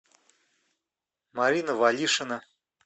марина валишина